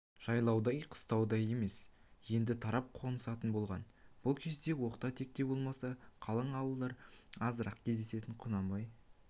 жайлаудай қыстаудай емес енді тарап қонысатын болған бұл кезде оқта-текте болмаса қалың ауылдар азырақ кездеседі құнанбай